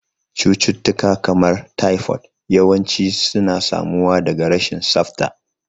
Cututtuka, kamar typhoid, yawanci suna samuwa daga rashin tsafta.